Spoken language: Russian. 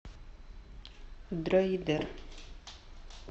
дроидер